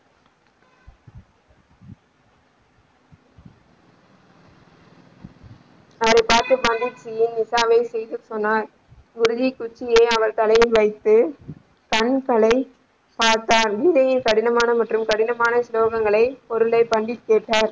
அவரைப் பார்த்த நிஷாவையும் சிரிக்க சொன்னார் குருஜி குச்சியை அவர் தலையில் வைத்து கண்கள பார்த்தார் கீதையின் கடினமான மற்றும் கடினமான ஸ்லோகங்களை பொருளை பண்டி கேட்டார்.